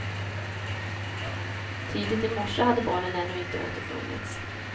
Tidigt i morse hade barnen ännu inte återfunnits.